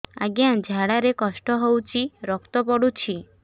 ଅଜ୍ଞା ଝାଡା ରେ କଷ୍ଟ ହଉଚି ରକ୍ତ ପଡୁଛି